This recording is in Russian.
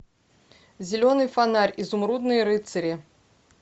зеленый фонарь изумрудные рыцари